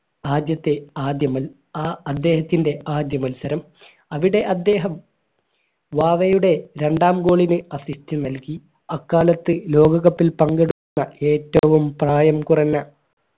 ആദ്യത്തെ ആദ്യമേ ആ അദ്ദേഹത്തിൻറെ ആദ്യമത്സരം അവിടെ അദ്ദേഹം വാവയുടെ രണ്ടാം goal ന് assist നൽകി അക്കാലത്ത് ലോക cup ൽ പങ്കെടുത്ത ഏറ്റവും പ്രായം കുറഞ്ഞ